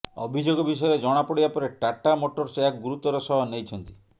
ଅଭିଯୋଗ ବିଷୟରେ ଜଣାପଡ଼ିବା ପରେ ଟାଟା ମୋଟର୍ସ ଏହାକୁ ଗୁରୁତ୍ବର ସହ ନେଇଛନ୍ତି